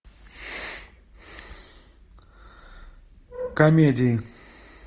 комедии